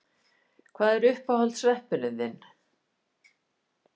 Kristjana: Hvað er uppáhalds sveppurinn þinn?